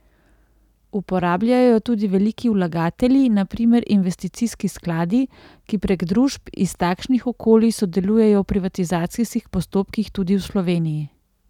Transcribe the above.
Uporabljajo jo tudi veliki vlagatelji, na primer investicijski skladi, ki prek družb iz takšnih okolij sodelujejo v privatizacijskih postopkih, tudi v Sloveniji.